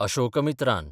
Ashokamitran